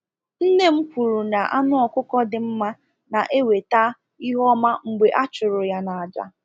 Nne m kwuru na anụ ọkụkọ dị mma na-eweta ihe ọma mgbe a chụrụ ya n'àjà.